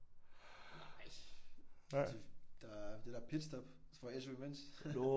Nej det der er det der pitstop så får jeg SU imens